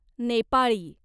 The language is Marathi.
नेपाळी